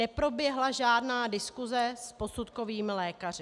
Neproběhla žádná diskuze s posudkovými lékaři.